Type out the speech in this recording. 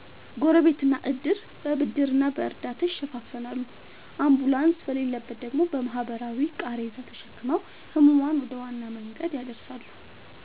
ጎረቤትና ዕድር በብድርና በእርዳታ ይሸፍናሉ፤ አምቡላንስ በሌለበት ደግሞ በባህላዊ ቃሬዛ ተሸክመው ሕሙማንን ወደ ዋና መንገድ ያደርሳሉ።